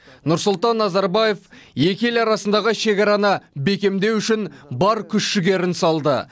нұрсұлтан назарбаев екі ел арасындағы шекараны бекемдеу үшін бар күш жігерін салды